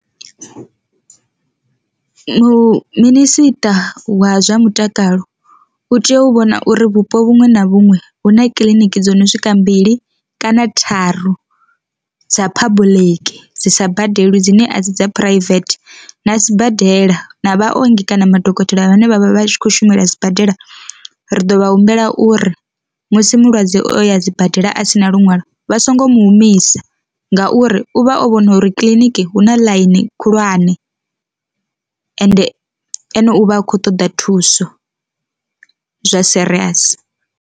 Minisiṱa wa zwa mutakalo u tea u vhona uri vhupo vhuṅwe na vhuṅwe hu na kiliniki dzo no swika mbili kana tharu dza public dzi sa badelwi dzine a dzi dza private, na sibadela na vhaongi kana madokotela a vhane vhavha vhatshi kho shumela sibadela ri ḓo vha humbela uri musi mulwadze o ya sibadela a thina luṅwalo vha so ngo mu humisa, ngauri u vha o vhona uri kiḽiniki hu na ḽaini khulwane ende ene uvha a kho ṱoḓa thuso zwa serious.